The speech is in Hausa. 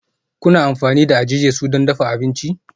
Kuna amfani da eje-jesu don dafa abinci?